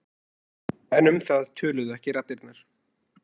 En um það töluðu ekki raddirnar.